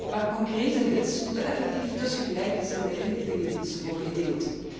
Maar concrete hits moeten effectief tussen gelijkgezinde inlichtingendiensten worden gedeeld.